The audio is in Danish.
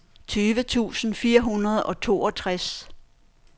tyve tusind fire hundrede og toogtres